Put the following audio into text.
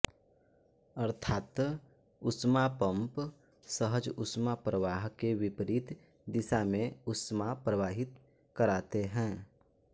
अर्थात् ऊष्मापम्प सहज ऊष्माप्रवाह के विपरीत दिशा में ऊष्मा प्रवाहित कराते हैं